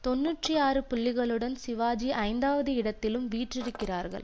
தொன்னூற்றி ஆறு புள்ளிகளுடன் சிவாஜி ஐந்தாவது இடத்திலும் வீற்றிருக்கிறார்கள்